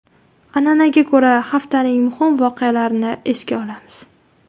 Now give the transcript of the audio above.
An’anaga ko‘ra, haftaning muhim voqealarini esga olamiz.